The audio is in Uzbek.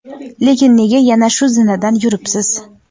lekin nega yana shu zinadan yuribsiz?.